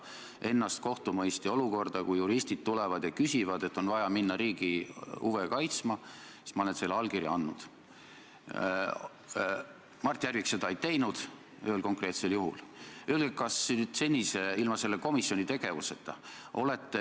Küsimus puudutas seda, mida Jüri Ratas kui peaminister teeb siseministriga, kes õõnestab õigusriiki, kes õõnestab neid põhimõtteid või õõnestab seda sõltumatust, mida prokuratuur ja uurimisasutused omavad, ja seab selle kõik kahtluse alla.